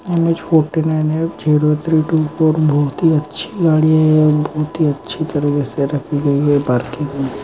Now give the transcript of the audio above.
M H forty nine F zero three two four बहुत ही अच्छी गाड़ी है और बहुत ही अच्छी तरह से रखी है पार्किंग मे।